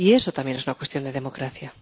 Y eso también es una cuestión de democracia.